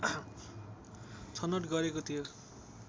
छनोट गरेको थियो